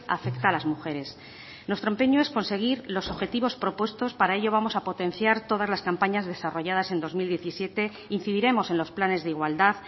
afecta a las mujeres nuestro empeño es conseguir los objetivos propuestos para ello vamos a potenciar todas las campañas desarrolladas en dos mil diecisiete incidiremos en los planes de igualdad